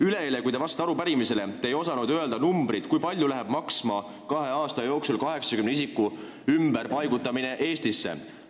Üleeile, kui te vastasite arupärimisele, te ei osanud öelda numbrit, kui palju läheb maksma 80 isiku ümberpaigutamine Eestisse kahe aasta jooksul.